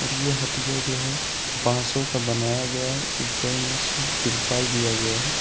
और ये हटिया जो है बासों का बनाया गया है ऊपर में से तिरपाल दिया गया है।